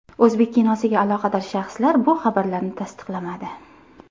O‘zbek kinosiga aloqador shaxslar bu xabarlarni tasdiqlamadi.